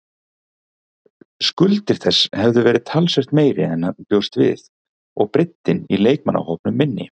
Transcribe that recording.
Skuldir þess hefðu verið talsvert meiri en hann bjóst við og breiddin í leikmannahópnum minni.